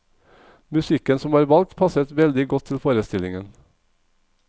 Musikken som var valgt, passet veldig godt til forestillingen.